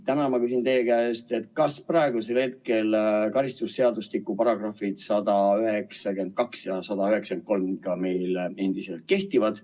Täna ma küsin teie käest, kas praegusel hetkel karistusseadustiku paragrahvid 192 ja 193 endiselt kehtivad.